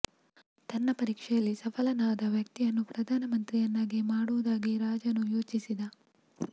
ತನ್ನ ಪರೀಕ್ಷೆಯಲ್ಲಿ ಸಫಲನಾದ ವ್ಯಕ್ತಿಯನ್ನು ಪ್ರಧಾನ ಮಂತ್ರಿಯನ್ನಾಗಿ ಮಾಡುವುದಾಗಿ ರಾಜನು ಯೋಚಿಸಿದ